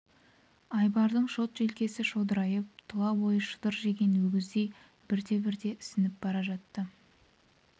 айбардың шот желкесі шодырайып тұла бойы шытыр жеген өгіздей бірте-бірте ісініп бара жатты